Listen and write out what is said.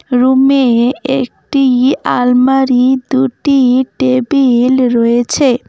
রুমে একটি আলমারি দুটি টেবিল রয়েছে।